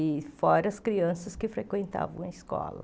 E fora as crianças que frequentavam a escola.